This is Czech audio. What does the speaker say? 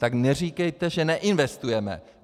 Tak neříkejte, že neinvestujeme.